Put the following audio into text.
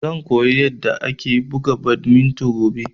Zan koya yanda ake buga badminton gobe